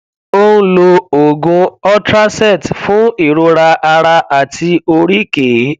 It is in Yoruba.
ó ń lo oògùn ultracet fún ìrora ara àti oríkèé